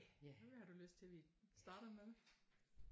Hvad har du lyst til vi starter med?